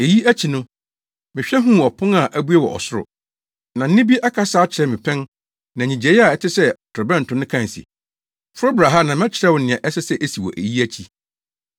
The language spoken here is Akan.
Eyi akyi no, mehwɛ huu ɔpon a abue wɔ ɔsoro. Na nne bi akasa akyerɛ me pɛn na nnyigyei a ɛte sɛ torobɛnto no kae se, “Foro bra ha, na mɛkyerɛ wo nea ɛsɛ sɛ esi wɔ eyi akyi.”